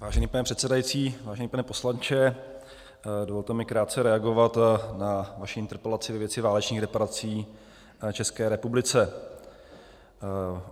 Vážený pane předsedající, vážený pane poslanče, dovolte mi krátce reagovat na vaši interpelaci ve věci válečných reparací České republice.